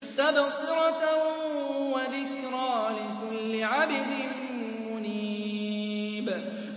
تَبْصِرَةً وَذِكْرَىٰ لِكُلِّ عَبْدٍ مُّنِيبٍ